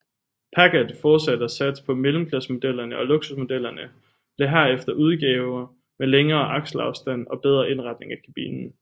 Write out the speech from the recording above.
Packard fortsatte at satse på mellemklassemodellerne og luksusmodellerne blev herefter udgaver med længere akselafstand og bedre indretning af kabinen